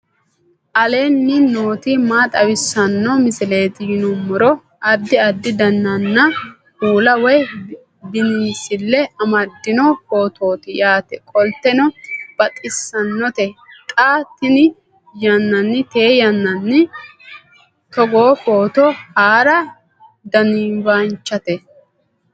aleenni nooti maa xawisanno misileeti yinummoro addi addi dananna kuula woy biinsille amaddino footooti yaate qoltenno baxissannote xa tenne yannanni togoo footo haara danvchate